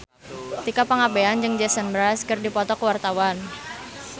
Tika Pangabean jeung Jason Mraz keur dipoto ku wartawan